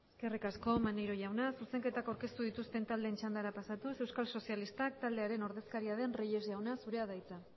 eskerrik asko maneiro jauna zuzenketak aurkeztu dituzten taldeen txandara pasatuz euskal sozialistak taldearen ordezkaria den reyes jauna zurea da hitza